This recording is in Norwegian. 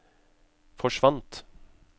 forsvant